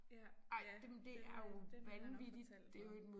Ja ja den øh den havde han også fortalt mig